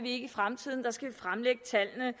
i fremtiden der skal vi fremlægge tallene